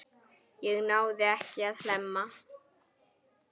Ég náði ekki að hemla.